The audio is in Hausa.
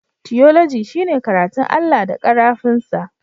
Tiyoloji shine karatun Allah da karafun sa.